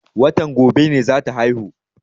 Watan gobe ne za ta haihu.